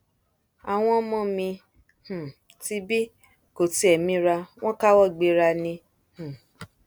àwọn ọmọ mi um tibí kò tiẹ mira wọn káwọ gbera ni um